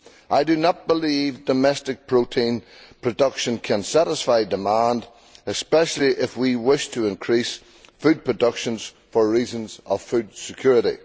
I do not believe that domestic protein production can satisfy demand, especially if we wish to increase food production for reasons of food security.